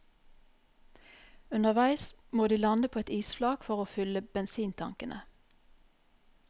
Underveis må de lande på et isflak for å fylle bensintankene.